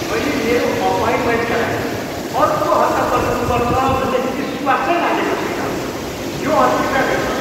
मैले मेरो अपोइन्टमेन्टका लागि अर्को हप्ता पर्खनु पर्छ भन्ने विश्वासै लागेको छैन। यो अस्वीकार्य छ।